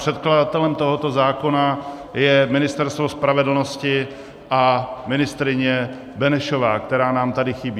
Předkladatelem tohoto zákona je Ministerstvo spravedlnosti a ministryně Benešová, která nám tady chybí.